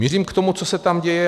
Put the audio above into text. Mířím k tomu, co se tam děje.